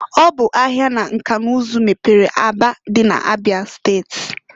Ọ bụ ahia na nka n'ụzụ mepere Aba dị na Abịa steti.